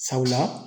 Sabula